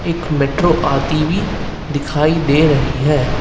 Metro आई हुई दिखाई दे रही है।